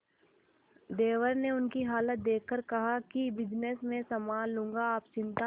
देवर ने उनकी ये हालत देखकर कहा कि बिजनेस मैं संभाल लूंगा आप चिंता